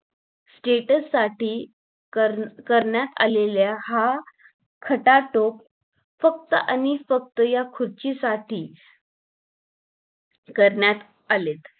status साठी करण्यात आलेल्या हा खटाटोप फक्त आणि फक्त या खुर्चीसाठी करण्यात आलेत